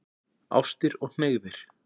Ástir og hneigðir